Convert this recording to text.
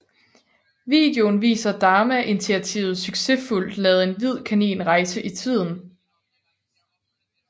Videoen viser Dharma Initiativet succesfuldt lade en hvid kanin rejse i tiden